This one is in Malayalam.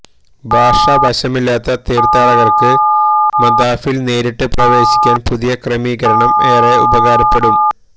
ഭാഷ വശമില്ലാത്ത തീര്ത്ഥാടകര്ക്ക് മതാഫില് നേരിട്ട് പ്രവേശിക്കാന് പുതിയ ക്രമീകരണം ഏറെ ഉപകാരപ്പെടും